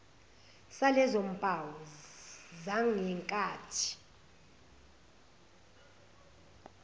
salezo mpawu zangenkathi